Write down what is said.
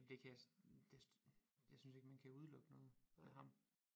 Jamen det kan jeg det jeg synes ikke man kan udelukke noget med ham